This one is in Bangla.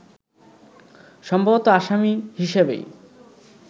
সম্ভবত আসামি হিসেবেই